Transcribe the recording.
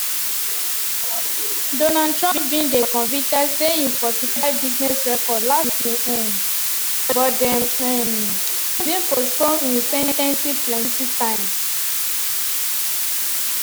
donald trump bin dey convicted say im falsify business records last may um but dem um bin postpone im sen ten cing plenti times.